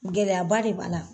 Gɛlɛyaba de b'a la.